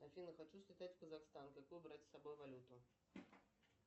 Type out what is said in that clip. афина хочу слетать в казахстан какую брать с собой валюту